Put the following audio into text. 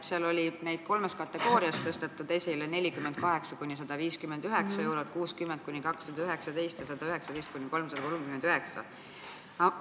Seal oli neid kolmes kategoorias: 48–159 eurot, 60–219 eurot ja 119–339 eurot.